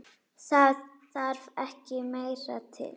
Það þarf ekki meira til.